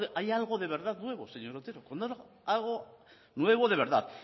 haya algo de verdad nuevo señor otero cuando haya algo nuevo de verdad